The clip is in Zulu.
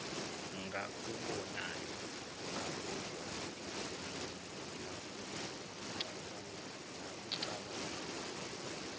ngakubonayo akuzwayo nakucabangayo